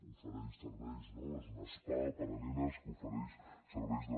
ofereix serveis no és un spa per a nenes que ofereix serveis de